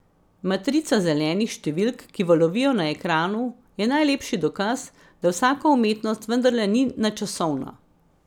Matrica zelenih številk, ki valovijo na ekranu, je najlepši dokaz, da vsaka umetnost vendarle ni nadčasovna.